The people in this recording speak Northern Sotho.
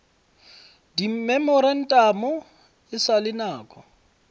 dimemorantamo e sa le nako